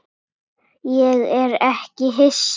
Ég er ekki hissa.